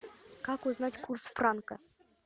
как узнать курс франка